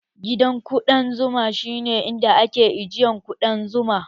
Gidan ƙuɗan zuma shi ne inda ake ajiye ƙuɗan zuma